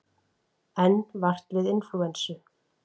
Enn vart við inflúensu